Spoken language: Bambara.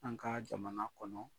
An ka jamana kɔnɔ.